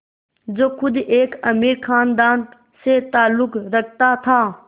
जो ख़ुद एक अमीर ख़ानदान से ताल्लुक़ रखता था